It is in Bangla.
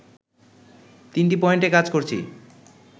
তিনটি পয়েন্টে কাজ করছি